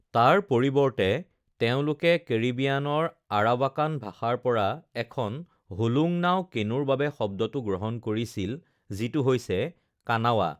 তাৰ পৰিৱৰ্তে তেওঁলোকে কেৰিবিয়ানৰ আৰাৱাকান ভাষাৰ পৰা এখন হোলোংনাও কেনুৰ বাবে শব্দটো গ্ৰহণ কৰিছিল যিটো হৈছে কানাৱা৷